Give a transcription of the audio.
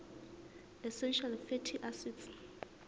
essential fatty acids